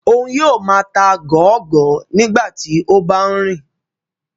Oun yoo máa ta gọọgọ nigbati o ba nrin